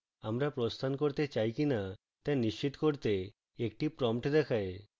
আমরা প্রস্থান করতে চাই কিনা তা নিশ্চিত করতে একটি prompt দেখায়